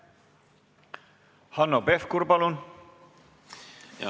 Hanno Pevkur, palun!